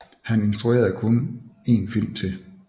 Han instruerede kun en film til